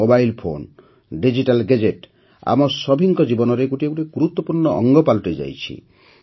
mobile phone digital gadget ଆମ ସଭିଙ୍କ ଜୀବନରେ ଗୋଟିଏ ଗୋଟିଏ ଗୁରୁତ୍ୱପୂର୍ଣ୍ଣ ଅଙ୍ଗ ପାଲଟିଯାଇଛି